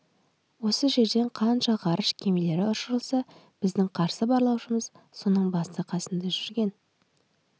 осы жерден қанша ғарыш кемелері ұшырылса біздің қарсы барлаушымыз соның басы-қасында жүрген